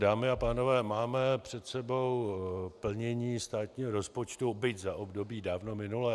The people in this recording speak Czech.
Dámy a pánové, máme před sebou plnění státního rozpočtu, byť za období dávno minulé.